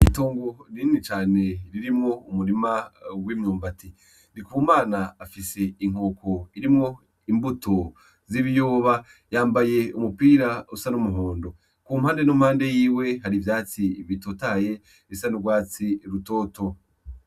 Itongo rini cane ririmwo umurima w’imyumbati. Ndikomana afise inkoko irimwo imbuto z’ibiyoba, yambaye umupira usa n’umuhondo. Ku mpande n’impande yiwe hari ivyatsi bitotahaye bisa n’urwatsi rutoto.